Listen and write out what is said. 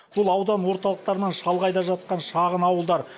бұл аудан орталықтарынан шалғайда жатқан шағын ауылдар